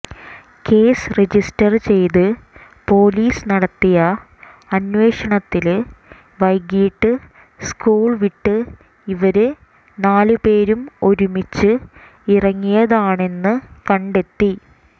case register ചെയ്ത് police നടത്തിയ അന്വേഷണത്തില് വൈകീട്ട് സ്കൂള്വിട്ട് ഇവര് നാലുപേരും ഒരുമിച്ച് ഇറങ്ങിയതാണെന്ന് കണ്ടെത്തി